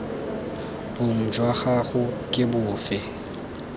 bong jwa gago ke bofe